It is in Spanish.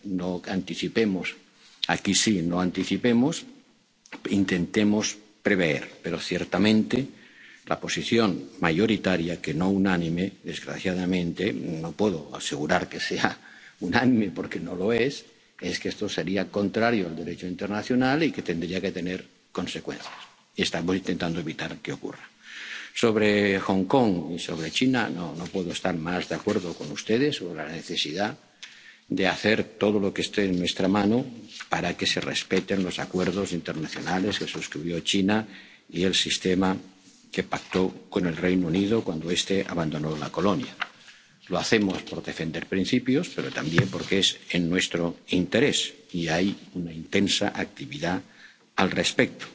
Pues, veremos. No anticipemos. Aquí, sí no anticipemos. Intentemos prever. Pero ciertamente, la posición mayoritaria, que no unánime —desgraciadamente, no puedo asegurar que sea unánime, porque no lo es—, es que esto sería contrario al Derecho internacional y que tendría que tener consecuencias, y estamos intentando evitar que ocurra. En cuanto a Hong Kong y a China, no puedo estar más de acuerdo con ustedes sobre la necesidad de hacer todo lo que esté en nuestra mano para que se respeten los acuerdos internacionales que suscribió China y el sistema que pactó con el Reino Unido cuando este abandonó la colonia. Lo hacemos por defender principios, pero también porque es en nuestro interés, y hay una intensa